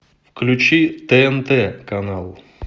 включи тнт канал